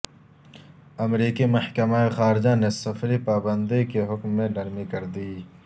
امریکی محکمہ خارجہ نے سفری پابندی کے حکم میں نرمی کردی